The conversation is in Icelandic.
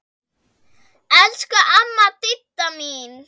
Elsku amma Didda mín.